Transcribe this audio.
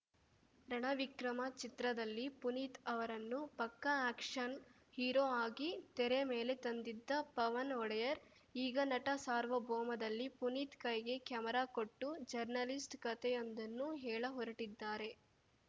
ರಣ ವಿಕ್ರಮ ಚಿತ್ರದಲ್ಲಿ ಪುನೀತ್‌ ಅವರನ್ನು ಪಕ್ಕಾ ಆ್ಯಕ್ಷನ್‌ ಹೀರೋ ಆಗಿ ತೆರೆ ಮೇಲೆ ತಂದಿದ್ದ ಪವನ್‌ ಒಡೆಯರ್‌ ಈಗ ನಟ ಸಾರ್ವಭೌಮದಲ್ಲಿ ಪುನೀತ್‌ ಕೈಗೆ ಕ್ಯಾಮರಾ ಕೊಟ್ಟು ಜರ್ನಲಿಸ್ಟ್‌ ಕತೆಯೊಂದನ್ನು ಹೇಳ ಹೊರಟಿದ್ದಾರೆ